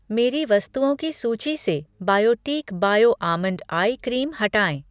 मेरी वस्तुओं की सूची से Biotique bio almond eye cream हटाएँ।